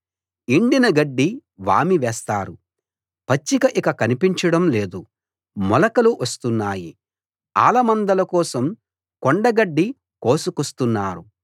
ఎండిన గడ్డి వామి వేస్తారు పచ్చిక ఇక కనిపించడం లేదు మొలకలు వస్తున్నాయి ఆలమందల కోసం కొండగడ్డి కోసుకొస్తున్నారు